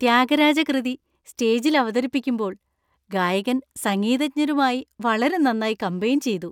ത്യാഗരാജ കൃതി സ്റ്റേജിൽ അവതരിപ്പിക്കുമ്പോൾ ഗായകൻ സംഗീതജ്ഞരുമായി വളരെ നന്നായി കമ്പയിൻ ചെയ്തു.